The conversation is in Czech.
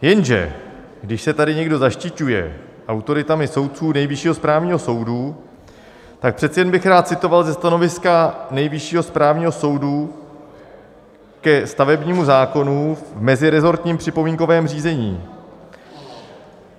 Jenže když se tady někdo zaštiťuje autoritami soudců Nejvyššího správního soudu, tak přece jen bych rád citoval ze stanoviska Nejvyššího správního soudu ke stavebnímu zákonu v meziresortním připomínkovém řízení.